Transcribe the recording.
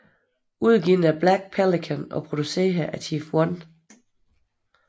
Udgivet af Black Pelican og produceret af Chief 1